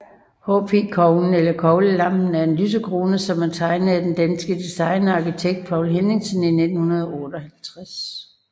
PH Koglen eller Koglelampen er en lysekrone som er tegnet af den danske designer og arkitekt Poul Henningsen i 1958